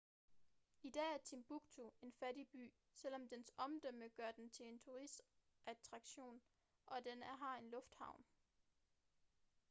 i dag er timbuktu en fattig by selvom dens omdømme gør den til en turistattraktion og den har en lufthavn